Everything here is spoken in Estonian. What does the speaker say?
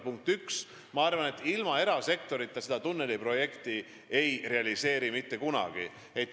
Punkt üks: ma arvan, et ilma erasektorita ei realiseerita seda tunneliprojekti mitte kunagi.